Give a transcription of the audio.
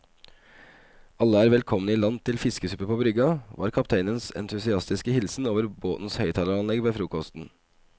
Alle er velkomne i land til fiskesuppe på brygga, var kapteinens entusiastiske hilsen over båtens høyttaleranlegg ved frokosten.